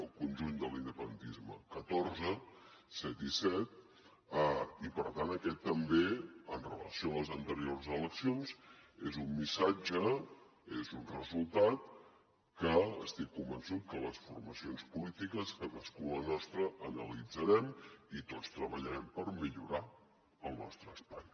el conjunt de l’independentisme catorze set i set i per tant aquest també amb relació a les anteriors eleccions és un missatge és un resultat que estic convençut que les formacions polítiques cadascú la nostra analitzarem i tots treballarem per millorar el nostre espai